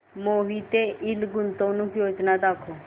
Mohite ind गुंतवणूक योजना दाखव